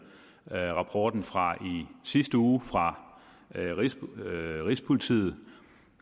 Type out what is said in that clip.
rapporten fra i sidste uge fra rigspolitiet